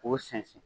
K'o sɛnsɛn